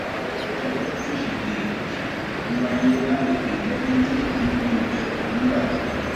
láàárọ ọjọbọ tọsídẹẹ níṣẹlẹ ọhún wáyé lágbègbè leventis ní dùgbẹ nìbàdàn